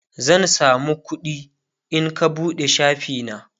zan samu kuɗi in ka buɗe shafi na